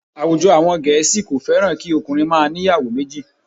Àwùjọ àwọn Gẹ̀ẹ́sì kò fẹ́ràn kí okùnrin máa ń ìyàwó méjì